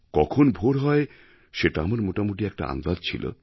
কখন ভোর হয় সেটা আমার মোটামুটি একটা আন্দাজ ছিল